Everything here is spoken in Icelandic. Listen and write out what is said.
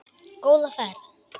Góða ferð,